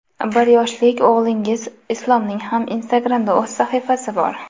Bir yoshlik o‘g‘lingiz Islomning ham Instagram’da o‘z sahifasi bor.